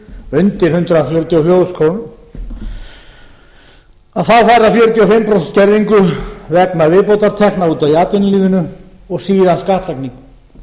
undir hundrað þrjátíu og fjögur þúsund krónur þá fær það fjörutíu og fimm prósent skerðingu vegna viðbótartekna í atvinnulífinu og síðan skattlagning